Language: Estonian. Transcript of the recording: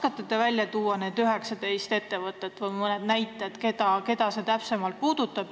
Kas te oskate välja tuua need 19 ettevõtet või mõne näite, keda see puudutab?